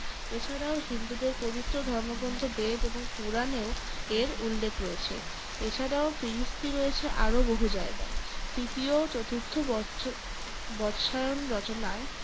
এ ছাড়াও হিন্দুদের পবিত্র ধর্মগ্রন্থ বেদ এবং পূরাণেও এর উল্লেখ রয়েছে। এ ছাড়াও ফিরিস্তি রয়েছে আরো বহু জায়গায়। তৃতীয় ও চতুর্থ বৎসর বৎসায়ন রচনায়।